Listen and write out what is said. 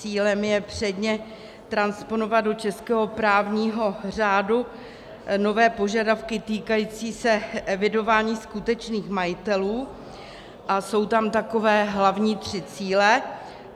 Cílem je předně transponovat do českého právního řádu nové požadavky týkající se evidování skutečných majitelů a jsou tam takové hlavní tři cíle.